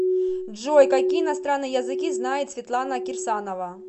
джой какие иностранные языки знает светлана кирсанова